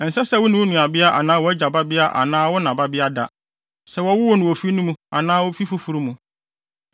“ ‘Ɛnsɛ sɛ wo ne wo nuabea anaa wʼagya babea anaa wo na babea da, sɛ wɔwoo no ofi no mu anaa ofi foforo mu.